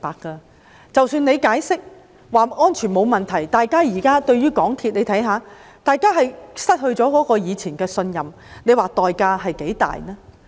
即使港鐵公司解釋安全沒有問題，但大家現在對它已經失去以前的信任，代價相當大。